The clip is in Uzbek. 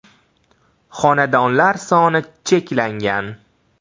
Xonadonlar soni cheklangan!